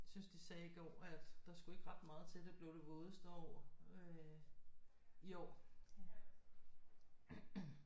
Jeg synes de sagde i går at der skulle ikke ret meget til at det blev det vådeste år øh i år